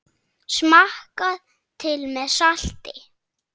Smakkað til með salti.